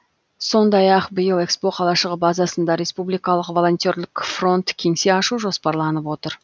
сондай ақ биыл ехро қалашығы базасында республикалық волонтерлік фронт кеңсе ашу жоспарланып отыр